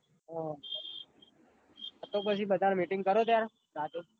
હા તો બધી પાંચ ન meeting કરો ત્યાર રાતે